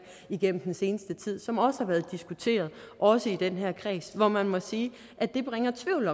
igennem den seneste tid som også har været diskuteret også i den her kreds hvor man må sige at det bringer tvivl